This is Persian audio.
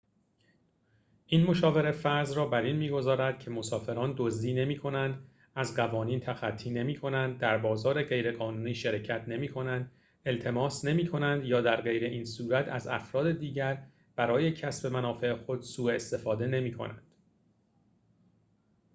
این مشاوره فرض را بر این می‌گذارد که مسافران دزدی نمی‌کنند از قوانین تخطی نمی‌کنند در بازار غیرقانونی شرکت نمی‌کنند التماس نمی‌کنند یا درغیراین‌صورت از افراد دیگر برای کسب منافع خود سوء استفاده نمی‌کنند